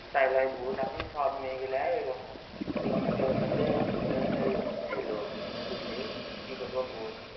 তাই লাগি সব মেয়ে গিলাই ঐরকম ছিল বুঝলি কি করবো বল